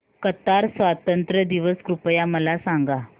Qatar स्वातंत्र्य दिवस कृपया मला सांगा